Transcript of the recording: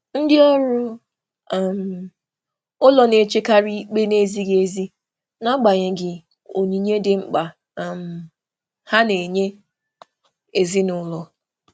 Ndị ọrụ ụlọ na-echekarị ikpe na-ezighị ezi n'agbanyeghị onyinye ha dị mkpa n'ụlọ.